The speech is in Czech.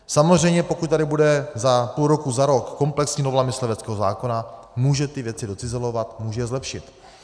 Samozřejmě pokud tady bude za půl roku, za rok komplexní novela mysliveckého zákona, může ty věci docizelovat, může je zlepšit.